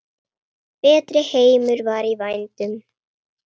Betri heimur var í vændum.